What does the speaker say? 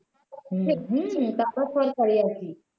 হম তারপরে সরকারি আর কি